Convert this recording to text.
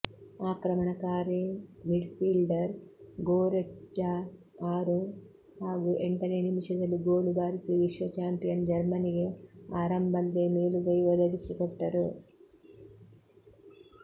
ಆಕ್ರಮಣಕಾರಿ midfielder Goretzka ಆರು ಹಾಗೂ ಎಂಟನೆ ನಿಮಿಷದಲ್ಲಿ ಗೋಲು ಬಾರಿಸಿ ವಿಶ್ವ ಚಾಂಪಿಯನ್ ಜರ್ಮನಿಗೆ ಆರಂಭಲ್ಲೇ ಮೇಲುಗೈ ಒದಗಿಸಿಕೊಟ್ಟರು